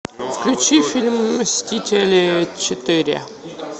включи фильм мстители четыре